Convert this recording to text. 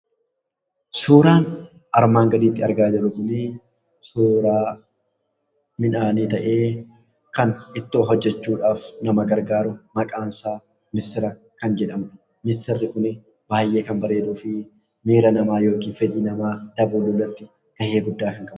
Suuraan armaan gadiitti argaa jirru kuni suuraa midhaanii ta'ee, kan ittoo hojjechuudhaaf nama gargaaru, maqaansaa missira kan jedhamudha. Missirri kuni baay'ee kan bareeduu fi miira yookiin fedhii namaa dabaluu irratti gahee guddaa kan qabudha.